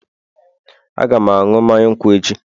Aga m aṅụ mmanya nkwụ echi